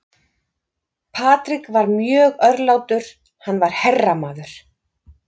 Patrick var mjög örlátur, hann var herramaður.